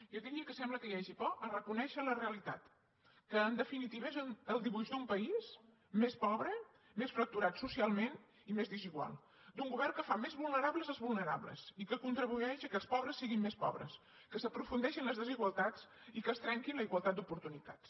jo diria que sembla que hi hagi por a reconèixer la realitat que en definitiva és el dibuix d’un país més pobre més fracturat socialment i més desigual d’un govern que fa més vulnerables els vulnerables i que contribueix que els pobres siguin més pobres que s’aprofundeixi en les desigualtats i que es trenqui la igualtat d’oportunitats